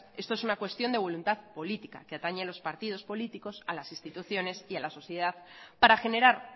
esto es una cuestión de voluntad política que atañe a los partidos políticos a las instituciones y a la sociedad para generar